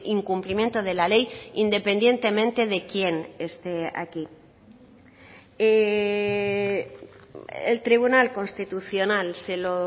incumplimiento de la ley independientemente de quien esté aquí el tribunal constitucional se lo